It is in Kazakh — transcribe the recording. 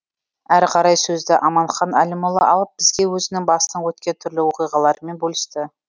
әрі қарай сөзді аманхан әлімұлы алып бізге өзінің басынан өткен түрлі оқиғаларымен бөлісті